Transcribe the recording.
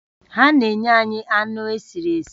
Ha na-enye anyị anụ esiri esi